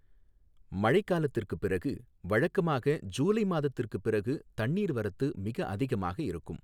மழைக் காலத்திற்குப் பிறகு, வழக்கமாக ஜூலை மாதத்திற்குப் பிறகு தண்ணீர் வரத்து மிக அதிகமாக இருக்கும்.